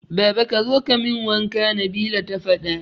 Baba kazo kamin wanka Nabila ta fada